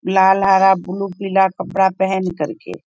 लाल हरा ब्लू पीला कपड़ा पेहेन कर के --